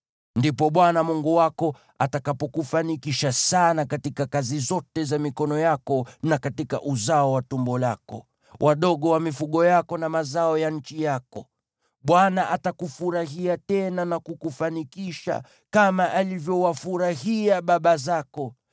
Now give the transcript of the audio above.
Ndipo Bwana Mungu wako atakapokufanikisha sana katika kazi zote za mikono yako na katika uzao wa tumbo lako, wadogo wa mifugo yako na mazao ya nchi yako. Bwana atakufurahia tena na kukufanikisha, kama alivyowafurahia baba zako,